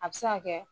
A bɛ se ka kɛ